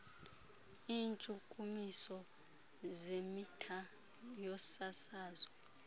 iintshukumiso zemitha yosasazo